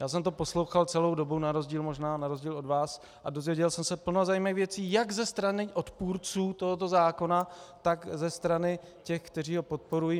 Já jsem to poslouchal celou dobu, na rozdíl možná od vás, a dozvěděl jsem se plno zajímavých věcí jak ze strany odpůrců tohoto zákona, tak ze strany těch, kteří ho podporují.